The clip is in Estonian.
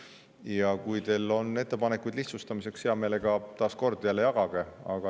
Ja kui teil on ettepanekuid lihtsustamiseks, siis jällegi, jagage seda, hea meelega.